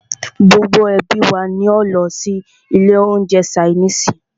Gbogbo ẹ́bí wa ní o lọ sí ilé oúnjẹ ṣainiisi.